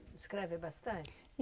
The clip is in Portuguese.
Escreve bastante?